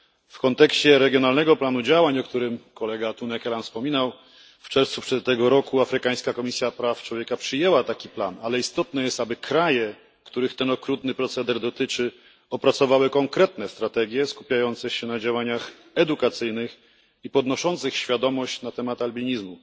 W kontekście regionalnego planu działań, o którym kolega Tunne Kelam wspominał, w czerwcu tego roku afrykańska komisja praw człowieka przyjęła taki plan, ale istotne jest, aby kraje, których ten okrutny proceder dotyczy, opracowały konkretne strategie skupiające się na działaniach edukacyjnych i podnoszących świadomość na temat albinizmu.